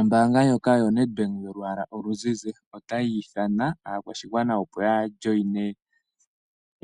Ombaanga ndjoka yoNedbank yolwaala oluzizi otayi ithana aakwashigwana, opo ya wayimine